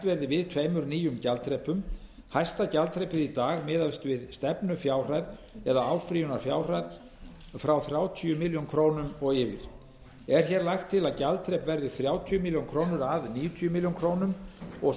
verði við tveimur nýjum gjaldaþrepum hæsta gjaldaþrepið í dag miðast við stefnufjárhæð eða áfrýjunarfjárhæð frá þrjátíu milljónir króna og yfir er hér lagt til að gjaldaþrepið verði þrjátíu milljónir króna að níutíu milljónir króna og